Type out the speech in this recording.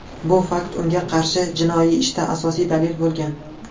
Bu fakt unga qarshi jinoiy ishda asosiy dalil bo‘lgan.